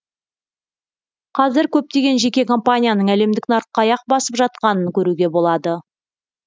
қазір көптеген жеке компанияның әлемдік нарыққа аяқ басып жатқанын көруге болады